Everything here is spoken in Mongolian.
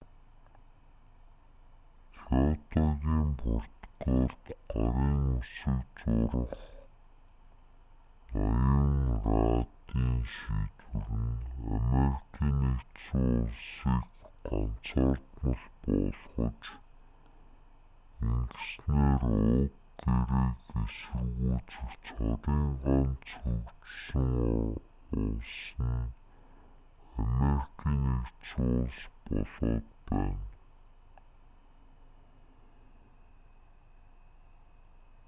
кёотогийн протоколд гарын үсэг зурах ноён раддын шийдвэр нь америкийн нэгдсэн улсыг ганцаардмал болгож ингэснээр уг гэрээг эсэргүүцэх цорын ганц хөгжсөн улс нь америкийн нэгдсэн улс болоод байна